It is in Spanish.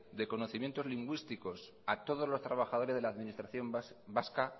de conocimientos lingüísticos a todos los trabajadores de la administración vasca